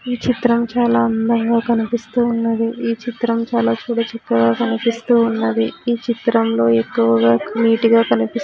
ఈ చిత్రం చాలా అందంగా కనిపిస్తూ ఉన్నది ఈ చిత్రం చాలా చూడ చక్కగా కనిపిస్తూ ఉన్నది ఈ చిత్రం లో ఎక్కువగా నీట్ గా కానీపిస్తు--